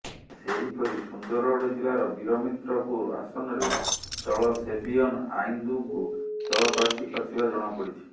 ସେହିପରି ସୁନ୍ଦରଗଡ଼ ଜିଲ୍ଲାର ବୀରମିତ୍ରପୁର ଆସନରେ ଦଳ ସେବିୟନ ଆଇନ୍ଦ୍ଙ୍କୁ ଦଳ ପ୍ରାର୍ଥୀ କରିଥିବା ଜଣାପଡ଼ିଛି